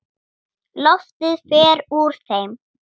Loftið fer úr þeim.